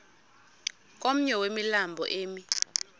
komnye wemilambo emi